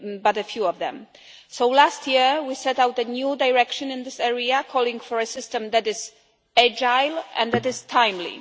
a few of them. So last year we set out a new direction in this area, calling for a system that is agile and that is timely.